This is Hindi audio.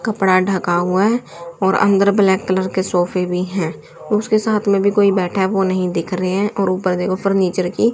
कपड़ा ढका हुआ है और अन्दर ब्लैक कलर के सोफे भी हैं उसके साथ में भी कोई बैठा है वो नहीं दिख रहे हैं और ऊपर देखो फर्नीचर की--